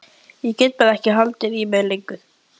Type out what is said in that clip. Ég gat bara ekki haldið í mér lengur.